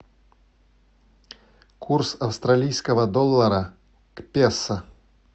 курс австралийского доллара к песо